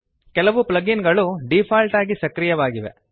ಕೆಲವು plug in ಗಳು default ಆಗಿ ಸಕ್ರಿಯವಾಗಿವೆ